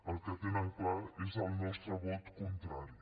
el que tenen clar és el nostre vot contrari